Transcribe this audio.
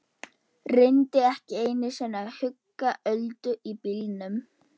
Reyndi ekki einu sinni að hugga Öldu í bílnum.